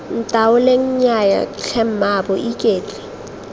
ntaoleng nnyaya tlhe mmaabo iketle